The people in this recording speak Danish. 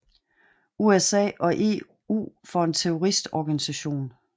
USA og EU for en terroristorganisation